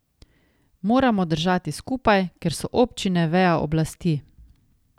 Moramo držati skupaj, ker so občine veja oblasti.